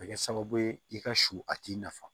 A bɛ kɛ sababu ye i ka su a t'i nafa